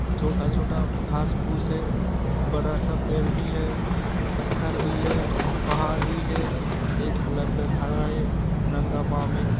छोटा छोटा घास फुस है। बड़ा सा पेड़ भी है। पत्थर भी है पहाड़ भी है एक लड़का खड़ा है नंगा पाव।